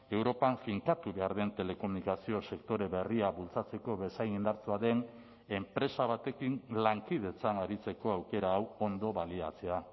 europan finkatu behar den telekomunikazio sektore berria bultzatzeko bezain indartsua den enpresa batekin lankidetzan aritzeko aukera hau ondo baliatzea